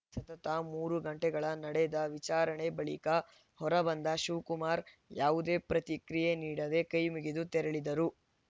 ಸತತ ಮೂರು ಗಂಟೆಗಳ ನಡೆದ ವಿಚಾರಣೆ ಬಳಿಕ ಹೊರಬಂದ ಶಿವಕುಮಾರ್‌ ಯಾವುದೇ ಪ್ರತಿಕ್ರಿಯೆ ನೀಡದೆ ಕೈಮುಗಿದು ತೆರಳಿದರು